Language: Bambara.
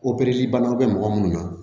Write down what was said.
banaw bɛ mɔgɔ minnu na